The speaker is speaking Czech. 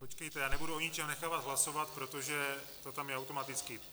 Počkejte, já nebudu o ničem nechávat hlasovat, protože to tam je automaticky.